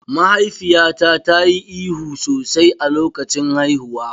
Mahaifiyata ta yi ihu sosai a lokacin haihuwa.